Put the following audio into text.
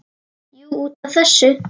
Jú, út af þessu.